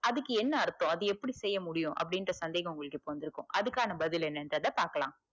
அதுக்கு என்ன அர்த்தம் அது எப்படி செய்ய முடியும் அப்டின்ற சந்தேகம் இப்ப உங்களுக்கு வந்துருக்கு அதுக்கான பதில் என்னன்றத பாக்களா